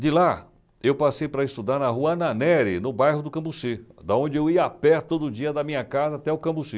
De lá, eu passei para estudar na Rua Ananere, no bairro do Cambuci, da onde eu ia a pé todo dia da minha casa até o Cambuci.